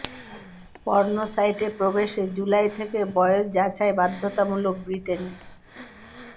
porn সাইটে প্রবেশে জুলাই থেকে বয়স যাচাই বাধ্যতামূলক ব্রিটেনে